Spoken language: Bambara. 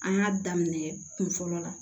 An y'a daminɛ kun fɔlɔ la